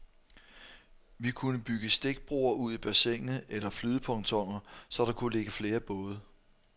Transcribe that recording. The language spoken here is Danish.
Vi kunne bygge stikbroer ud i bassinet eller flydepontoner, så der kunne ligge flere både.